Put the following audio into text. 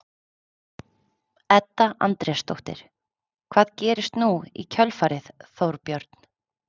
Edda Andrésdóttir: Hvað gerist nú í kjölfarið Þorbjörn?